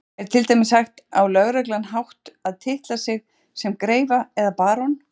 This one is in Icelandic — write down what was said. Er til dæmis hægt á löglegan hátt að titla sig sem greifa eða barón?